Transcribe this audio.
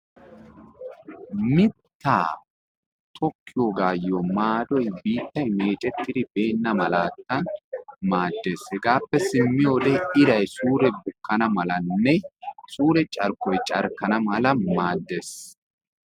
Mittaa tokkiyogayyo maadoy biittay meecettidi beenna malattan maaddees. Hegappe simmiyode iray suure bukkana malanne suure carkkoy carkkana mala maaddees.